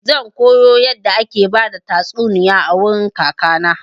Zan koyo yadda ake bada tastuniya a wurin kaka na.